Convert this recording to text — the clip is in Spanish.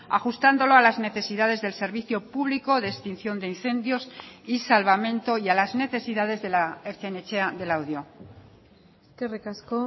ajustándolo a las necesidades del servicio público de extinción de incendios y salvamento y a las necesidades de la ertzain etxea de laudio eskerrik asko